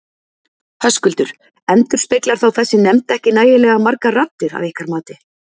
Höskuldur: Endurspeglar þá þessi nefnd ekki nægilega margar raddir að ykkar mati?